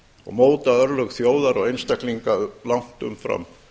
og móta örlög þjóðar og einstaklinga langt umfram